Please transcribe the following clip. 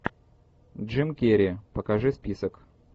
джим керри покажи список